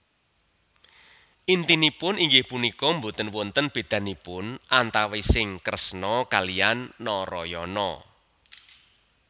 Intinipun inggih punika boten wonten bédanipun antawising Kresna kaliyan Narayana